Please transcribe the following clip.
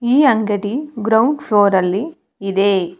ಈ ಅಂಗಡಿ ground floor ಅಲ್ಲಿ ಇದೆ.